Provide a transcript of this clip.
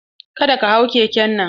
Ka da ka hau keken nan!